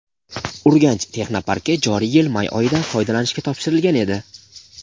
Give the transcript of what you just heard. "Urganch" texnoparki joriy yil may oyida foydalanishga topshirilgan edi.